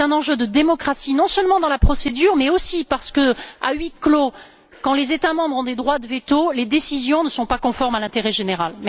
C'est un enjeu de démocratie, non seulement en ce qui concerne la procédure mais aussi parce que, à huis clos, quand les États membres ont des droits de veto, les décisions ne sont pas conformes à l'intérêt général.